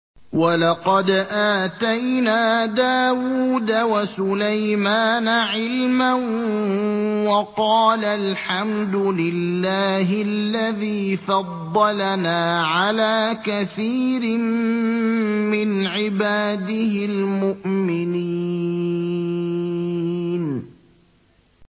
وَلَقَدْ آتَيْنَا دَاوُودَ وَسُلَيْمَانَ عِلْمًا ۖ وَقَالَا الْحَمْدُ لِلَّهِ الَّذِي فَضَّلَنَا عَلَىٰ كَثِيرٍ مِّنْ عِبَادِهِ الْمُؤْمِنِينَ